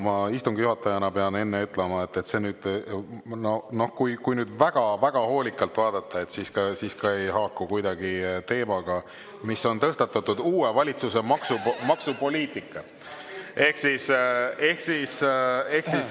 Ma pean istungi juhatajana enne ütlema, et kui nüüd väga-väga hoolikalt vaadata, siis see ei haaku kuidagi teemaga, mis on tõstatatud: uue valitsuse maksupoliitika.